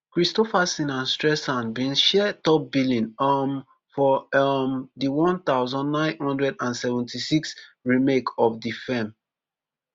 kristofferson and streisand bin share top billing um for um di one thousand, nine hundred and seventy-six remake of di feem